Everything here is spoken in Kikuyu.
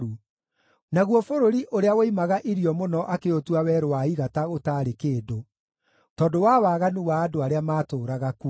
naguo bũrũri ũrĩa woimaga irio mũno akĩũtua werũ wa igata ũtaarĩ kĩndũ, tondũ wa waganu wa andũ arĩa maatũũraga kuo.